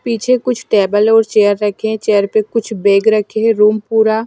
पीछे कुछ टेबल और चेयर रखे हैं चेयर पे कुछ बैग रखे हैं रूम पूरा--